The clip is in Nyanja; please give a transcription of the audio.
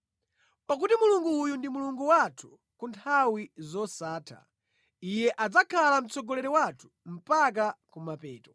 Pakuti Mulungu uyu ndi Mulungu wathu ku nthawi zosatha; Iye adzakhala mtsogoleri wathu mpaka ku mapeto.